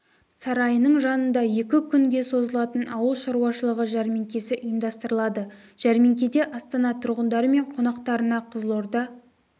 сарайының жанында екі күнге созылатын ауыл шаруашылығы жәрмеңкесі ұйымдастырылады жәрмеңкеде астана тұрғындары мен қонақтарына қызылорда